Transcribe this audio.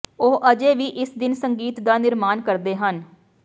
ਉਹ ਅਜੇ ਵੀ ਇਸ ਦਿਨ ਸੰਗੀਤ ਦਾ ਨਿਰਮਾਣ ਕਰਦੇ ਹਨ